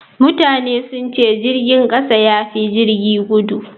Mutane sun ce jirgin kasa ya fi jirgin gudu.